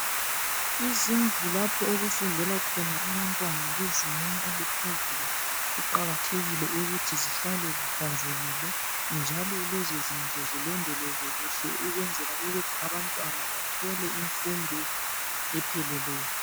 Izindlu lapho okufundela khona abantwana bezingeni eliphezulu kuqakathekile ukuthi zihlale zihlanzekili njalo lezo zindlu zilondolozwe kuhle ukwenzela ukuthi abantwana bathole imfundo epheleleyo.